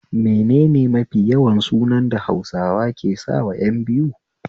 Menene mafi yawan sunan da Hausawa ke sawa ƴan biyu?